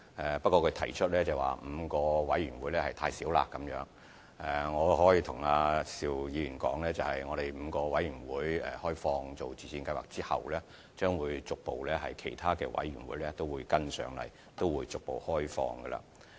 可是，邵議員認為5個委員會數目太少，我可以跟他說 ，5 個委員會開放予自薦計劃後，其他委員會將會隨後逐步開放。